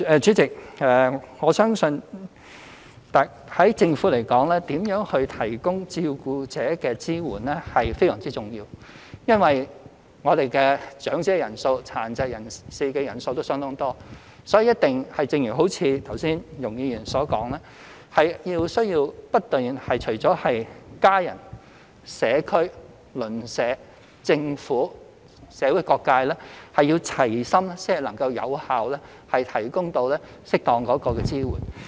主席，我相信從政府而言，如何提供支援予照顧者是非常重要的，因為長者人數、殘疾人士人數都相當多，所以，一定要如剛才容海恩議員所說，除家人外，還不斷需要社區、鄰舍、政府和社會各界齊心，才能有效提供適當的支援。